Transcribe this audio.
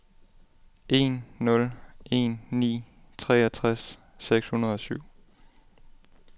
en nul en ni treogtres seks hundrede og syv